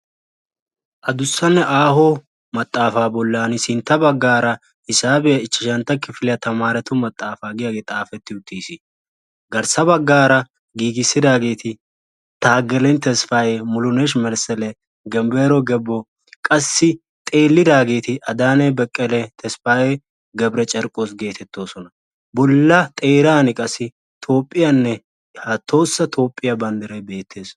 addussanne aaho maxaafa bollansintta baggara hisaabiya ichashshantta kifilyaa tamaretu maxaafa giyaage xaafeti uttiis, garssa baggara giigissidaageti tageleny tesfaye, mulunesh mesele, genbbero gebbo, qassi xeelidaageeti adanne bekkelle, tesfaye g/carkkooss getetoosona; bolla xeeran qassi toophiyanne tohossa toophiyaa banddiray beettees.